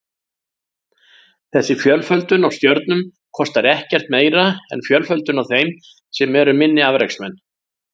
Þessi fjölföldun á stjörnum kostar ekkert meira en fjölföldun á þeim sem eru minni afreksmenn.